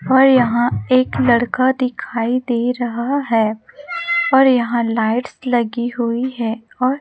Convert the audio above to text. और यहां एक लड़का दिखाई दे रहा है और यहां लाइट्स लगी हुई है और--